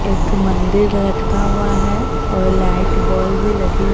एक मंदिर लटका हुआ है और लाइट बॉल भी लगी--